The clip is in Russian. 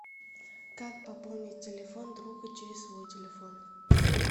как пополнить телефон другу через свой телефон